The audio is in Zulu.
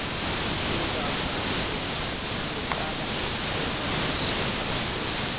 kungakuhle siyoqala emasupermarket